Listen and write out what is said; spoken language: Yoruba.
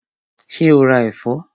Ṣé o ra ẹ̀fọ́?